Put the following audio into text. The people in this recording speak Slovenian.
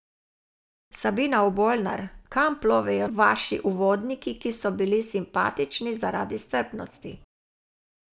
Sabina Obolnar, kam plovejo vaši uvodniki, ki so bili simpatični zaradi strpnosti.